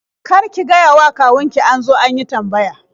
Kar ki gayawa kawun ki an zo an yi tambaya.